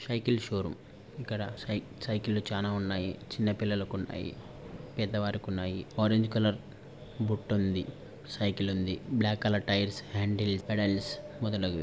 Cycle showroom ఇక్కడ సై cycle చానా ఉన్నాయి చిన్న పిల్లలకు ఉన్నాయి పెద్ద వారికి ఉన్నాయి ఆరంజ్ కలర్ బుట్ట ఉందని సైకిల్ ఉంది black colour tyres handle pedals మొదలగు.